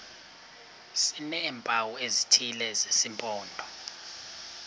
sineempawu ezithile zesimpondo